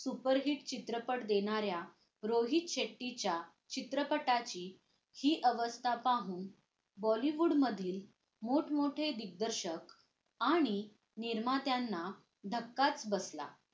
superhit चित्रपट देणाऱ्या रोहित शेट्टीच्या चित्रपटाची हि अवस्था पाहुन bollywood मधले मोठमोठे दिग्दर्शक आणि निर्मात्यांना धक्काच बसला